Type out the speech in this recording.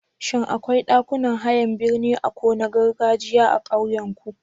Shin akwai ɗakunan hayan birni a ko na gargajiya a ƙauyenku?